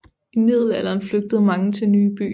I middelalderen flyttede mange til nye byer